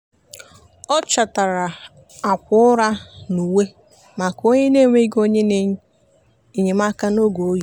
ọ chọtara akwa ụra na uwe maka onye na-enweghị onye enyemaka n'oge oyi.